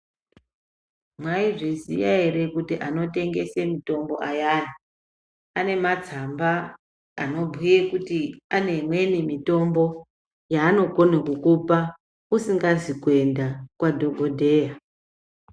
Mwaizviziya ere kuti anotengese mitombo ayani anematsamba anobhuye kuti aneimweni mitombo yaanokone kukupa usikazi kuende kwadhokodheya.